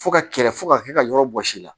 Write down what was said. Fo ka kɛlɛ fo ka kɛ ka yɔrɔ bɔsi la